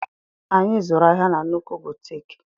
Anyị zụrụ ahịa na nnukwu butiiki.